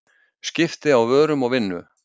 Skipti á vörum og vinnu.